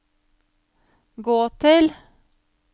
gå til